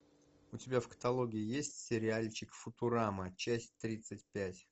у тебя в каталоге есть сериальчик футурама часть тридцать пять